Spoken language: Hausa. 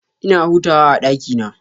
Ina hutawa a ɗakina.